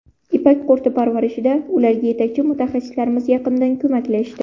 Ipak qurti parvarishida ularga yetakchi mutaxassislarimiz yaqindan ko‘maklashdi.